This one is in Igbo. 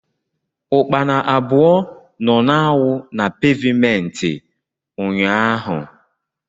ukpana abụọ nọ na-awụ na pevmenti ụnyaahụ.